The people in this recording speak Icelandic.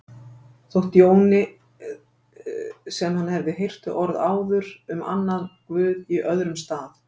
Þótti Jóni sem hann hefði heyrt þau orð áður um annan guð í öðrum stað.